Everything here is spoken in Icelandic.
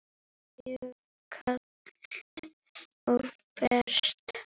Mjög kalt og bert.